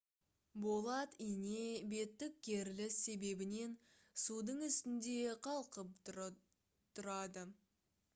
болат ине беттік керіліс себебінен судың үстінде қалқып тұрады